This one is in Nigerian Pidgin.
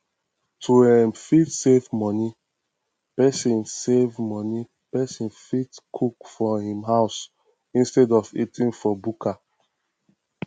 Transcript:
to um fit save money person save money person fit cook for um house instead of eating for bukka